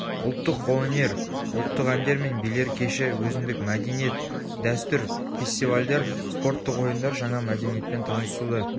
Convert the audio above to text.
ұлттық қолөнер ұлттық әндер мен билер кеші өзіндік мәдениет дәстүр фестивальдер спорттық ойындар жаңа мәдениетпен танысуды